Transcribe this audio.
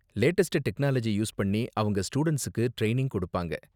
Latest technology use பண்ணி அவங்க ஸ்டூடண்ட்ஸுக்கு ட்ரைனிங் கொடுப்பாங்க.